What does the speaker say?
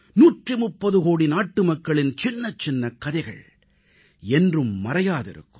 130 கோடி நாட்டுமக்களின் சின்னச்சின்ன கதைகள் என்றும் மறையாதிருக்கும்